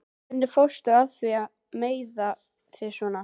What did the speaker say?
Hvernig fórstu að því að meiða þig svona?